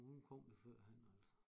Hun kom jo førhen altså